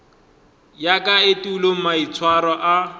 ya ka etulo maitshwaro a